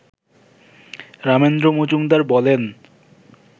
রামেন্দ্র মজুমদার বলেন